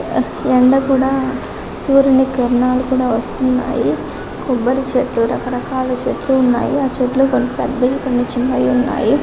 ఎండ కూడా సూర్యుని కిరణాలు కూడా వస్తున్నాయి కొబ్బరి చెట్లు రకరకాల చెట్లు ఉన్నాయి ఆ చెట్లు కొన్ని పెద్దవి కొన్ని చిన్నవి ఉన్నాయి